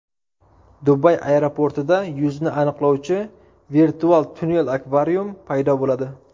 Dubay aeroportida yuzni aniqlovchi virtual tunnel-akvarium paydo bo‘ladi.